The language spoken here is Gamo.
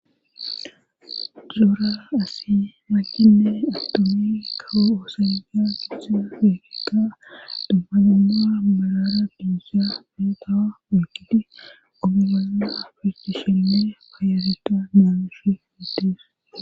Zoora asi mankinne attomi kawo oosanda gidisaa pifikka dabmanamaa balara duisa figawa mikidi omi bolna afrihi shinne payareta mamushi hiddis.